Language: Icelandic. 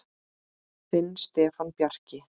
Þinn Stefán Bjarki.